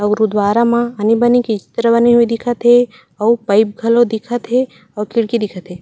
अउ गुरुद्वारा म आनी बानी के चित्र बने हुए दिखत हे अउ पाइप घलो दिखत हे अउ खिड़की दिखत हे।